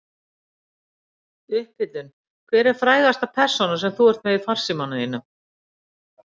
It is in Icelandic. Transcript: upphitun Hver er frægasta persónan sem þú ert með í farsímanum þínum?